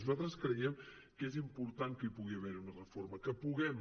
nosaltres creiem que és important que hi pugui haver una reforma que puguem